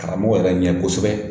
Karamɔgɔ yɛrɛ ɲɛ kosɛbɛ